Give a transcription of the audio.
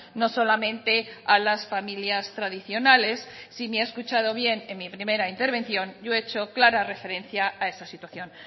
no solamente a las familias tradicionales si me ha escuchado bien en mi primera intervención yo he hecho clara referencia a esa situación